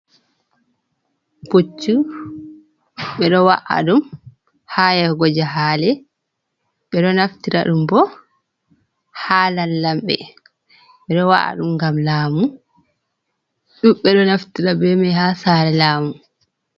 Puccu ɓe ɗo wa’a ɗum haa yahugo jahaale, ɓe ɗo naftira ɗum boo haa lamlamɓe, ɓe ɗo wa’a ɗum ngam laamu, ɗuuɗɓe ɗo naftira bee mai haa saare laamu.